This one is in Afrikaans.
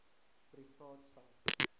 privaat sak